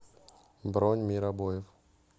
бронь мир обоев